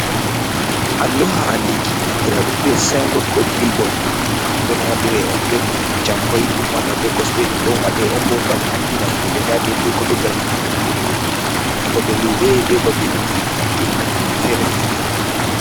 Allluha andinki andiraɗum be sainbot ko bilbot. Don waɗire on be jamkoi. Dum wada be koste. Dum don wada on bo gam andina himbe nda de idei ko doggata ha nukkure nde banta babe lube, be babeji joɗno kuje fere-fere.